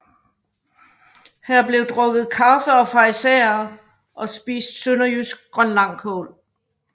Her bliver drukket kaffe og farisæer og spist sønderjysk grønlangkål